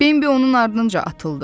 Bimbi onun ardınca atıldı.